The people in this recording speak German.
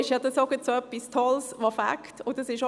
Deshalb ist es gerade etwas so Tolles, das Spass macht!